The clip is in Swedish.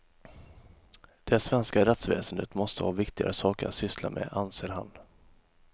Det svenska rättsväsendet måste ha viktigare saker att syssla med, anser han.